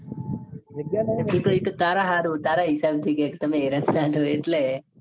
એતો તારે હારું તારા હિસાબ થી કે ક તમે હેરાન ના થો. એટલે